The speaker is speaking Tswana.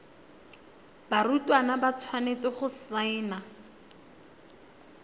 barutwana ba tshwanetse go saena